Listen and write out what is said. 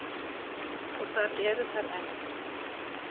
Og þar eru þær enn.